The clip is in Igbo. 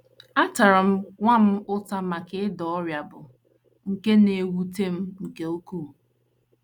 Atara m nwa m ụta maka ịda ọrịa bụ́ nke na - ewute m nke ukwuu. ”